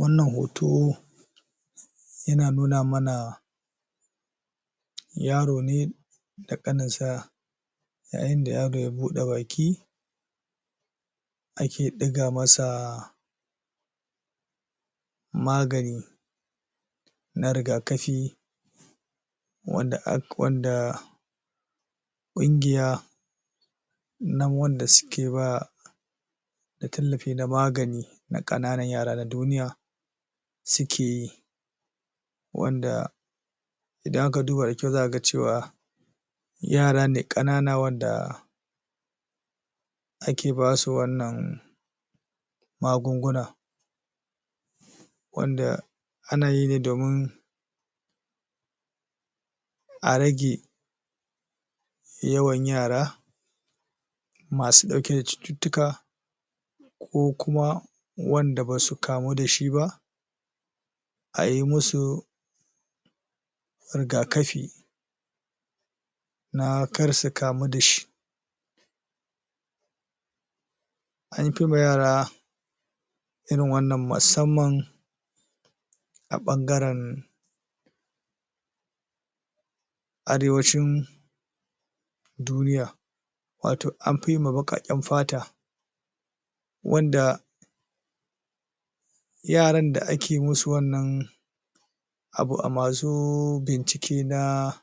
Wannan hoto yana nuna mana yaro ne da ƙanin sa yayin da yaro ya buɗe baki ake ɗiga masa magani na rigakafi wanda ƙungiya na wanda suke ba da tallafi na magani na ƙananan yara na duniya suke yi wanda idan aka duba da kyau za'a ga cewa yara ne ƙanana wanda ake basu wannan magunguna wanda ana yi ne domin a rage yawan yara masu ɗauke da cututtuka ko kuma wanda basu kamu da shi ba a yi musu rigakafi na kar su kamu da shi an fi ma yara irin wannan musamman a ɓangaren Arewacin duniya wato an fi yi wa baƙaƙen fata wanda yaran da ake musu wannan abu a masu bincike na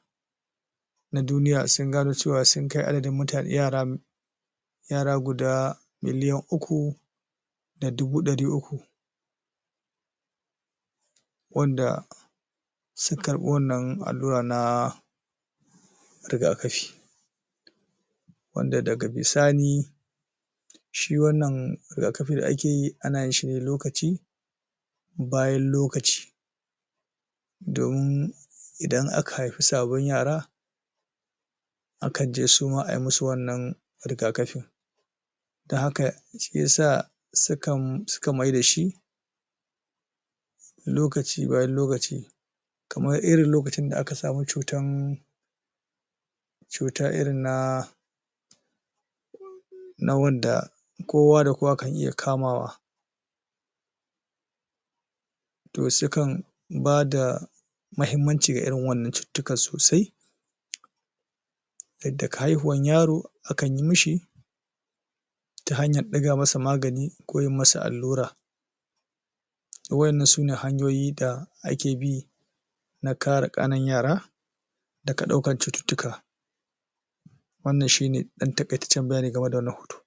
duniya sun gano cewa sun kai adadin muta yara yara guda miliyan uku da dubu ɗari uku wanda suka karɓi wannan allura na rigakafi wanda daga bisani shi wannan rigakafi da ake yi ana yin shi lokaci bayan lokaci domin idan aka haifi sababbin yara akan je suma ai musu wannan rigakafin dan haka shiyasa sukan maida shi lokaci bayan lokaci kamar irin lokacin da aka samu cutan cuta irin na na wanda kowa da kowa kan iya kamawa to sukan bada mahimmanci ga irin wannan cututtukan sosai yadda daga haihuwan yaro akan yi mishi ta hanyar ɗiga masa magani ko yi masa allura to waƴannan sune hanyoyi da ake bi na kare ƙananan yara daga ɗaukar cututtuka wannan shi ne ɗan taƙaitacen bayani game da wannan hoto.